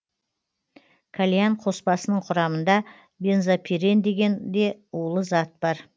кальян қоспасының құрамында бензопирен деген де улы зат бар